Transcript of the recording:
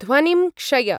ध्वनिं क्षय।